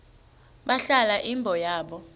balahla imbo yabo